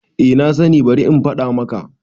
A nasani bari in faɗa maka